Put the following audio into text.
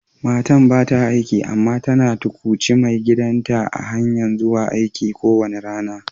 Matan ba ta aiki amma tana tukwuci maigidan ta a'hanyan zuwa aiki kowani rana.